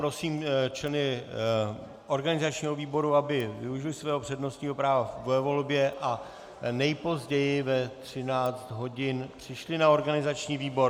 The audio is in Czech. Prosím členy organizačního výboru, aby využili svého přednostního práva ve volbě a nejpozději ve 13 hodin přišli na organizační výbor.